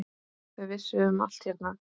Þau vissu um allt hérna.